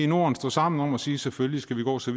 norden stå sammen om at sige at selvfølgelig skal vi gå så